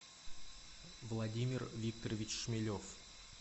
владимир викторович шмелев